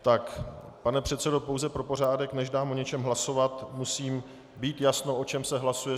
Tak, pane předsedo, pouze pro pořádek, než dám o něčem hlasovat, musím mít jasno, o čem se hlasuje.